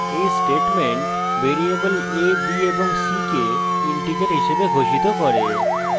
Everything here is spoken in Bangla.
এই statement ভেরিয়েবল a b এবং c কে integers হিসাবে ঘোষিত করে